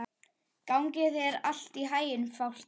Gangi þér allt í haginn, Fálki.